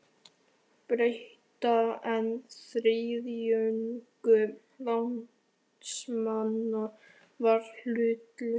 Breta, en þriðjungur landsmanna var hlutlaus.